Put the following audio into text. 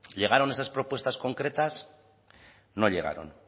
llegaron esas propuestas concretas no llegaron